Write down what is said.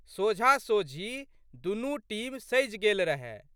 सोझाँसोझी दुनू टीम सजि गेल रहए।